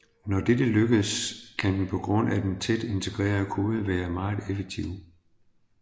Når dette lykkedes kan den på grund af den tæt integrerede kode være meget effektiv